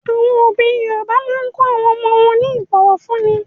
Àwọn òbí Yorùbá máa ń kọ́ àwọn ọmọ wọn ní ìbọ̀fúnni.